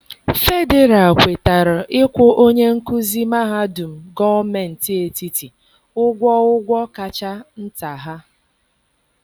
Fedịral kwetara ịkwụ onye nkuzi mahadum gọọmentị etiti ụgwọ ụgwọ kacha nta ha.